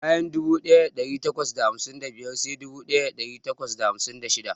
Bayan dubu daya dari takwas da hamsin da biyar sai dubu daya dari takwas da hamsin da shida.